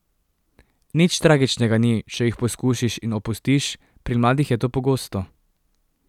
Nič tragičnega ni, če jih poskusiš in opustiš, pri mladih je to pogosto.